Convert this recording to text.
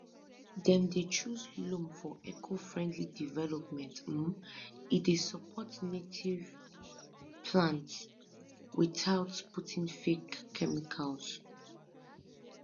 dem dey choose loam for ecofriendly development um e dey support native plants without putting fake chemicals